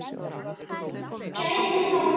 Gæti það gerst?